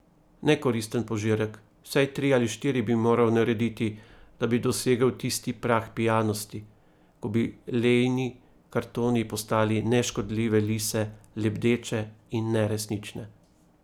Nekoristen požirek, vsaj tri ali štiri bi moral narediti, da bi dosegel tisti prag pijanosti, ko bi Leini kartoni postali neškodljive lise, lebdeče in neresnične.